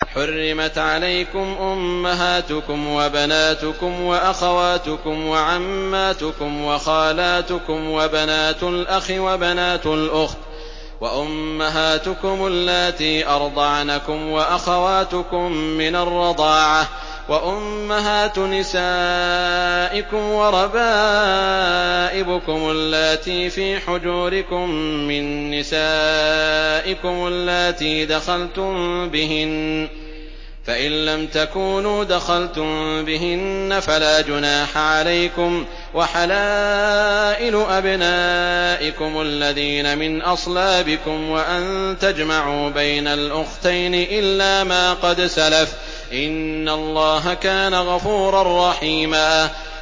حُرِّمَتْ عَلَيْكُمْ أُمَّهَاتُكُمْ وَبَنَاتُكُمْ وَأَخَوَاتُكُمْ وَعَمَّاتُكُمْ وَخَالَاتُكُمْ وَبَنَاتُ الْأَخِ وَبَنَاتُ الْأُخْتِ وَأُمَّهَاتُكُمُ اللَّاتِي أَرْضَعْنَكُمْ وَأَخَوَاتُكُم مِّنَ الرَّضَاعَةِ وَأُمَّهَاتُ نِسَائِكُمْ وَرَبَائِبُكُمُ اللَّاتِي فِي حُجُورِكُم مِّن نِّسَائِكُمُ اللَّاتِي دَخَلْتُم بِهِنَّ فَإِن لَّمْ تَكُونُوا دَخَلْتُم بِهِنَّ فَلَا جُنَاحَ عَلَيْكُمْ وَحَلَائِلُ أَبْنَائِكُمُ الَّذِينَ مِنْ أَصْلَابِكُمْ وَأَن تَجْمَعُوا بَيْنَ الْأُخْتَيْنِ إِلَّا مَا قَدْ سَلَفَ ۗ إِنَّ اللَّهَ كَانَ غَفُورًا رَّحِيمًا